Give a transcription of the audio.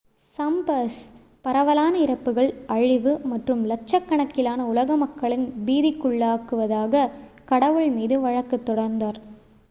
"சம்பெர்ஸ் "பரவலான இறப்புகள் அழிவு மற்றும் லட்சக்கணக்கிலான உலக மக்களின் பீதிக்குள்ளாக்குவதாக" கடவுள் மீது வழக்கு தொடர்ந்தார்.